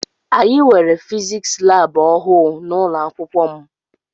Anyị nwere fiziks lab ọhụụ n'ụlọakwụkwọ m.